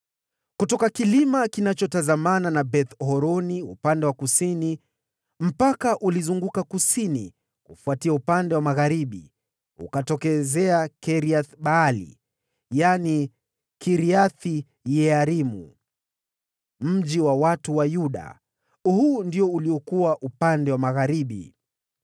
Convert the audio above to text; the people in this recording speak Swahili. Kutoka kilima kinachotazamana na Beth-Horoni upande wa kusini mpaka ule ukazunguka kusini kufuatia upande wa magharibi, na ukatokezea Kiriath-Baali (yaani Kiriath-Yearimu), mji wa watu wa Yuda. Huu ndio uliokuwa upande wa magharibi.